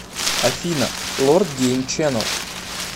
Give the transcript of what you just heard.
афина лорд гейм ченел